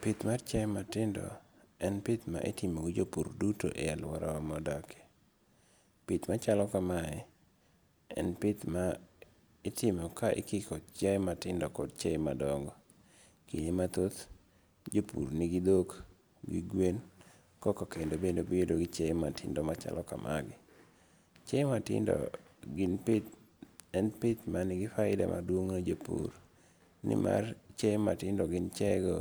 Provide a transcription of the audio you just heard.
Pith mar chiaye matindo, en pith ma itimo gi jopur duto e aluorawa ma wadakie, pith machalo kamae, en pith ma itimo ka ikiko chiae matindo kod chiaye madongo, kinde mathoth jopur nigi thok , nigi gwen koka kendo obedo gi chiaye matindo machalo kamae gi, chiaye matindo gin pith en pith manigi faida maduong' ne jopur, ni mar chiaye matindo gin chiaye go